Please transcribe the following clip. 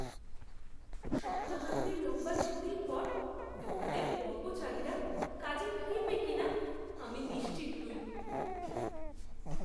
সপ্তাহান্তের লম্বা ছুটির পর দোকানের কর্মচারীরা কাজে ফিরবে কিনা আমি নিশ্চিত নই!